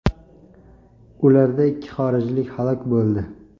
Ularda ikki xorijlik halok bo‘ldi.